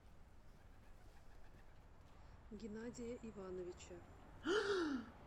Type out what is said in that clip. геннадия ивановича